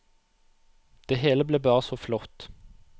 Det hele ble bare så flott.